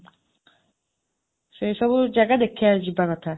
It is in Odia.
ସେଇ ସବୁ ଜାଗା ଦେଖିବାକୁ ଯିବା କଥା।